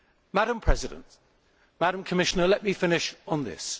Madam President, Madam Commissioner, let me finish on this.